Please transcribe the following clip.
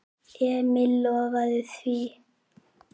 Emil lofaði því.